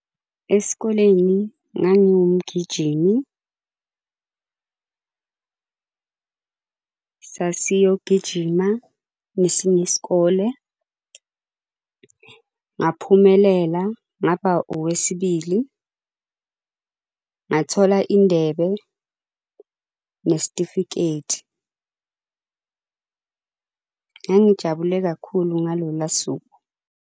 Esikoleni ngangingumgijimi . Sasiyogijima nesinye isikole. Ngaphumelela ngapha owesibili, ngathola indebe nesitifiketi. Ngangijabule kakhulu ngaloluya suku,